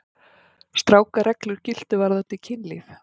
Strangar reglur giltu varðandi kynlíf.